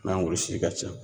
N'an ka ca